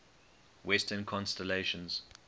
western constellations